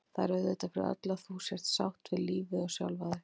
Það er auðvitað fyrir öllu að þú sért sátt við lífið og sjálfa þig.